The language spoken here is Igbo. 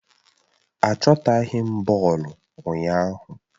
Achọtaghi m bọọlụ ụnyaahụ